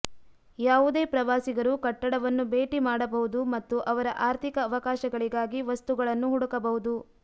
ಯಾವುದೇ ಪ್ರವಾಸಿಗರು ಕಟ್ಟಡವನ್ನು ಭೇಟಿ ಮಾಡಬಹುದು ಮತ್ತು ಅವರ ಆರ್ಥಿಕ ಅವಕಾಶಗಳಿಗಾಗಿ ವಸ್ತುಗಳನ್ನು ಹುಡುಕಬಹುದು